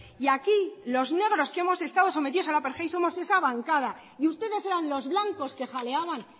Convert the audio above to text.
y aquí los negros que hemos estado sometidos al apartheid somos esa bancada y ustedes eran los blancos que jaleaban